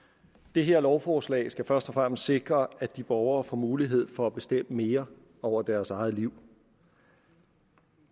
det her lovforslag skal først og fremmest sikre at de borgere får mulighed for at bestemme mere over deres eget liv